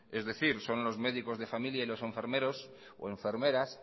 es decir son los médicos de familia y los enfermeros o enfermeras